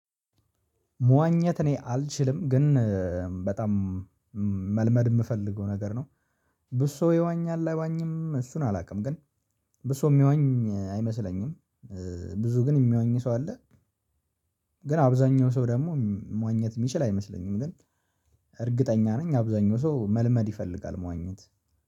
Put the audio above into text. መዋኘት እኔ አልችልም ግን በጣም መልመድ የምፈልገው ነገር ነው ብዙ ሰው ይዋኛል አይዋኝም እሱን አላውቅም ግን ብዙ ሰው የሚዋኝ አይመስለኝም ብዙ ግን የሚዋኝ ሰው አለ? ግን አብዛኛው ሰው ደግሞ መዋኘት የሚችል አይመስለኝም ግን እርግጠኛ ነኝ አብዛኛው ሰው መልመድ ይፈልጋል መዋኘት